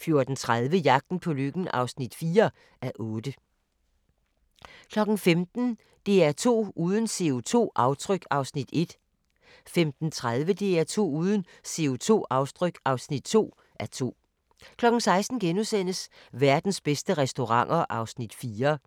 14:30: Jagten på lykken (4:8) 15:00: DR2 uden CO2-aftryk (1:2) 15:30: DR2 uden CO2-aftryk (2:2) 16:00: Verdens bedste restauranter (4:6)*